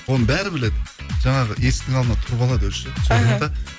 оны бәрі біледі жаңағы есіктің алдына тұрып алады өзі ше іхі